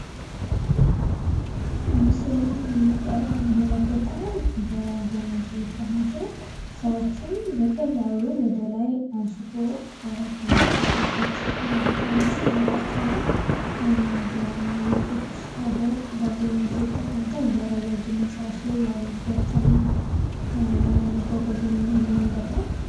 በምለስሉ ላይ የምንመለሰተው በገመድ የተያዘ ሰዎችን በቀላሉ ወደ ላይ አንስቶ ከሚፈልጉበት ቦታ የሚያስቀምጣቸው ነው። በውጮች ሀገር አብዛኛውን ጊዜ ይጠቀሙታል ለረጃጅም ህንፃዎች ላይ የሚገጠም መጓጓዣ መንገድ ነው።